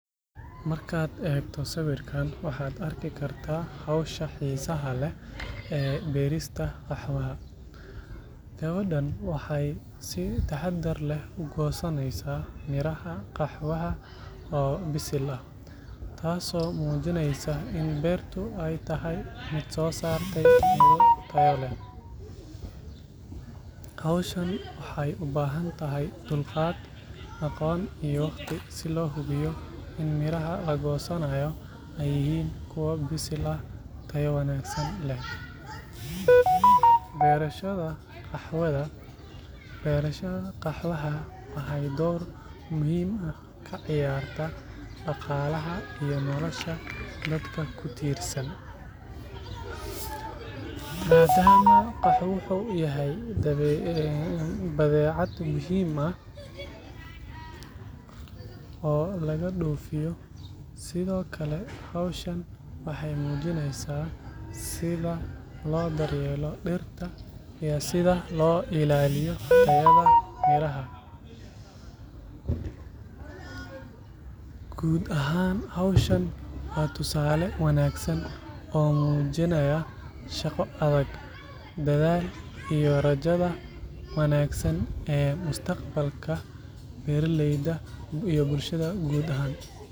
Markaad eegto sawirkan, waxaad arki kartaa hawsha xiisaha leh ee beerista qaxwaha. Gabadhan waxay si taxaddar leh u goosanaysaa miraha qaxwaha oo bisil ah, taasoo muujineysa in beertu ay tahay mid soo saartay miro tayo leh. Hawshan waxay u baahan tahay dulqaad, aqoon, iyo waqti si loo hubiyo in miraha la goosanayo ay yihiin kuwa bisil oo tayo wanaagsan leh. Beerashada qaxwaha waxay door muhiim ah ka ciyaartaa dhaqaalaha iyo nolosha dadka ku tiirsan, maadaama qaxwuhu yahay badeecad muhiim ah oo laga dhoofiyo. Sidoo kale, hawshan waxay muujineysaa sida loo daryeelo dhirta iyo sida loo ilaaliyo tayada miraha. Guud ahaan, hawshan waa tusaale wanaagsan oo muujinaya shaqo adag, dadaal, iyo rajada wanaagsan ee mustaqbalka beeraleyda iyo bulshada guud ahaan.